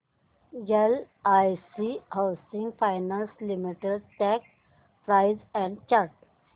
LIC housing finance limited stock price and chart